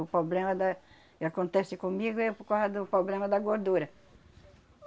O problema da, que acontece comigo é por causa do problema da gordura.